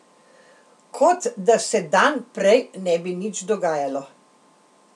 Kot da se dan prej ne bi nič dogajalo.